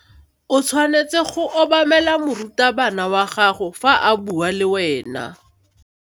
O tshwanetse go obamela morutabana wa gago fa a bua le wena.